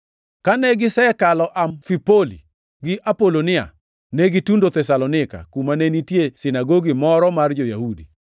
Kane gisekalo Amfipoli gi Apolonia, ne gitundo Thesalonika, kuma ne nitie sinagogi moro mar jo-Yahudi.